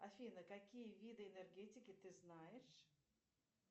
афина какие виды энергетики ты знаешь